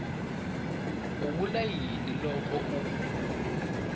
vula yini loko a ku